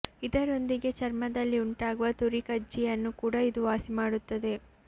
ಇದರೊಂದಿಗೆ ಚರ್ಮದಲ್ಲಿ ಉಂಟಾಗುವ ತುರಿ ಕಜ್ಜಿಯನ್ನು ಕೂಡ ಇದು ವಾಸಿ ಮಾಡುತ್ತದೆ